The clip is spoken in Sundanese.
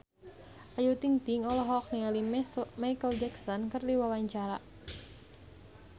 Ayu Ting-ting olohok ningali Micheal Jackson keur diwawancara